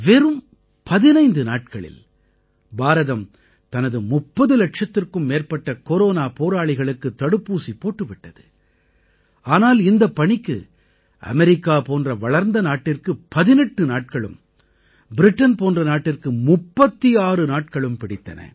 வெறும் 15 நாட்களில் பாரதம் தனது 30 இலட்சத்திற்கும் மேற்பட்ட கொரோனா போராளிகளுக்குத் தடுப்பூசி போட்டு விட்டது ஆனால் இந்தப் பணிக்கு அமெரிக்கா போன்ற வளர்ந்த நாட்டிற்கு 18 நாட்களும் பிரிட்டன் போன்ற நாட்டிற்கு 36 நாட்களும் பிடித்தன